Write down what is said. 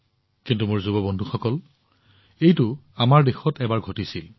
কিন্তু মোৰ যুৱ বন্ধুসকল এইটো আমাৰ দেশত এবাৰ ঘটিছিল